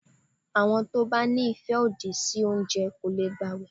Àwọn tó bá ní ìfẹ́ òdì sí oúnjẹ kò lè gbàwẹ̀.